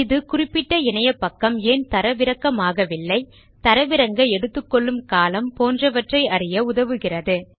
இது குறிப்பிட்ட இணையபக்கம் ஏன் தரவிறக்கமாகவில்லை தரவிறங்க எடுத்துக் கொள்ளும் காலம் போன்றவற்றை அறிய உதவுகிறது